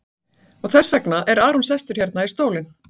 Og þess vegna er Aron sestur hérna í stólinn?